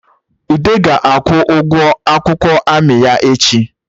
Ude ga-akwụ ụgụ akwụkwọ amị ya echi